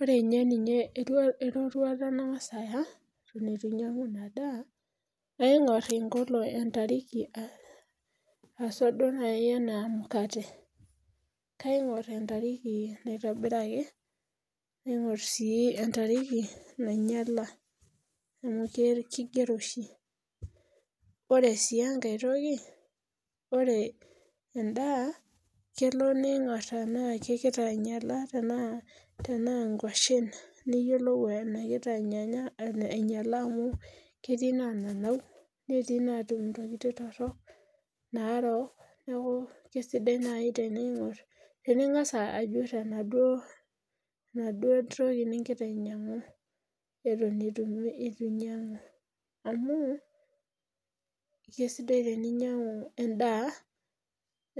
Ore inye ninye erua eroruata nang'as aya eton itu ainyiang'u ina daa kaing'orr inkolo entariki uh aswa duo naai enaa emukate kaing'orr entariki naitobiraki naing'orr sii entariki nainyiala amu kigero oshi ore sii enkae toki ore endaa kelo niing'orr tenaa kekita ainyiala tenaa tenaa nkuashen niyiolou enekita anyanya ainyiala amu ketii nanau netiinatum intokitin torrok narook neeku kisidai naai teneing'orr tening'as ajurr enaduo enaduo toki ningira ainyiang'u eton itu inyiang'u amu kisidai teninyiang'u endaa